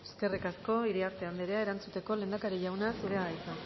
eskerrik asko iriarte anderea erantzuteko lehendakari jauna zurea da hitza